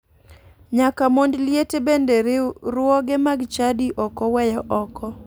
Nyaka mond liete bende riwruoge mag chadi ok oweyo oko